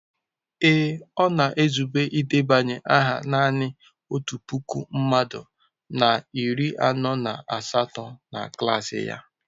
Ee, ọ na-ezube idebanye aha nanị otu puku mmadụ na iri anọ na asatọ na klas ya.